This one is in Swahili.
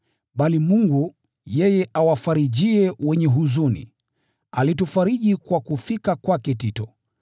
Bali Mungu, yeye awafarijie wenye huzuni, alitufariji kwa kufika kwake Tito.